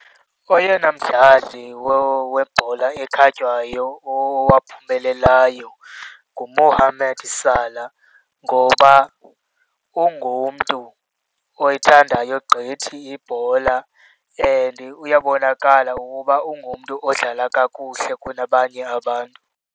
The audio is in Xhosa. Oyena mdlali webhola ekhatywayo owaphumelelayo nguMohamed Salah ngoba ungumntu oyithandayo gqithi ibhola and uyabonakala ukuba ungumntu odlala kakuhle kunabanye abantu.